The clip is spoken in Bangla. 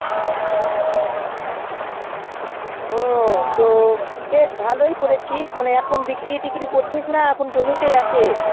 ও তো বেশ ভালোই করেছিস মানে এখন বিক্রি ত্ৰিকড়ী করছিস না জমি তে আছে